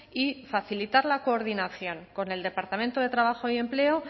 y facilitar la coordinación con el departamento de trabajo y empleo